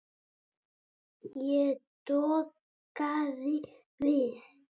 Ég dokaði við.